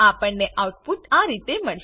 આપણેને આઉટપુટ આ રીતે મળશે